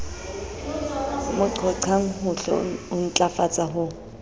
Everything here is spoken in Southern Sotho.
mo qhoqhang ho intlafatsa ho